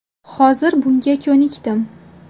Hozir bunga ko‘nikdim.